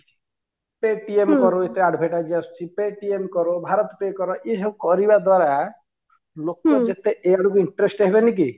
Paytm ଏତେ advertise ଆସୁଛି Paytm bharat pay ଏସବୁ କରିବା ଦ୍ୱାରା ଲୋକ ଯେତେ ଏ ଆଡକୁ interest ହେବେନି କି